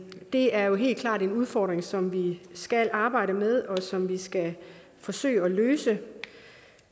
det er jo helt klart en udfordring som vi skal arbejde med og som vi skal forsøge at løse det